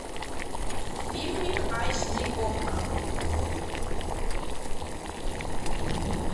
фильмик айч ди окко